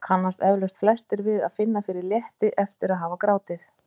Það kannast eflaust flestir við að finna fyrir létti eftir að hafa grátið.